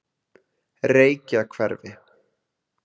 Reykjahverfi